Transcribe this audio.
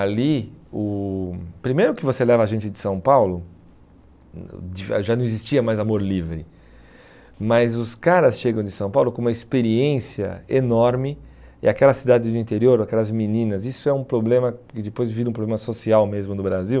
Ali o, primeiro que você leva a gente de São Paulo, hum já não existia mais amor livre, mas os caras chegam de São Paulo com uma experiência enorme e aquela cidade do interior, aquelas meninas, isso é um problema que depois vira um problema social mesmo no Brasil.